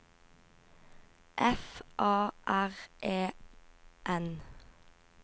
F A R E N